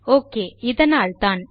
okay இதனால்தான்